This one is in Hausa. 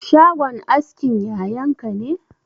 Shagon askin yayan ka ne?